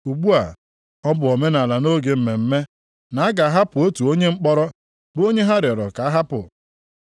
Ugbu a, ọ bụ omenaala nʼoge mmemme, na a ga-ahapụ otu onye mkpọrọ, bụ onye ha rịọrọ ka a hapụ.